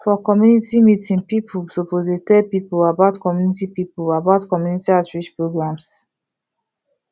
for community meeting people suppose to dey tell people about community people about community outreach programs